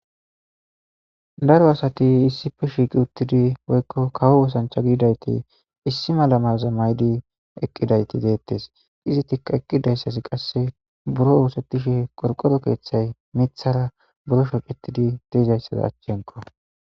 Daro asati issife shiiqi uttidi woykko kawo wosancha giidayti issi malamayoza maydi eqqidayti deettes izi tikka eqqidayssasi qasse buro oosettishe qorqoro keeththay mithara buro shocetidi deezayssaza achchenko.